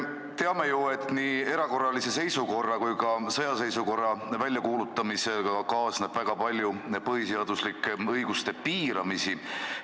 Teame ju, et nii erakorralise seisukorra kui ka sõjaseisukorra väljakuulutamisega kaasneb väga palju põhiseaduslike õiguste piiramisi.